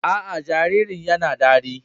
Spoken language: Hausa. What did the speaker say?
A a, jaririn ya na ɗaki.